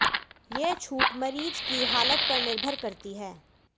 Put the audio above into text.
ये छूट मरीज की हालत पर निर्भर करती है